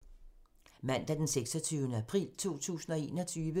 Mandag d. 26. april 2021